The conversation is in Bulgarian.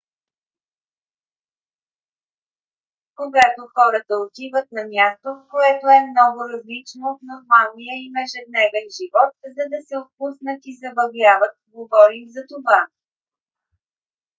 когато хората отиват на място което е много различно от нормалния им ежедневен живот за да се отпуснат и забавляват говорим за това